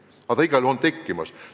Aga see igal juhul on tekkimas.